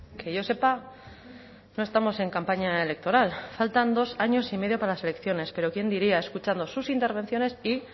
que yo sepa no estamos en campaña electoral faltan dos años y medio para las elecciones pero quién diría escuchando sus intervenciones y